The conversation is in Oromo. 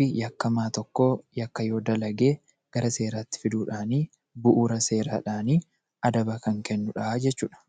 fi yakkamaa tokko yakka yoo dalage, gara seeraatti fiduudhaani, bu'uura seeraadhaani adaba kan kennu dha jechuu dha.